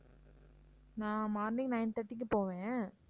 நான் morning nine thirty க்கு போவேன்